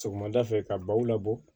Sɔgɔmada fɛ ka baw labɔ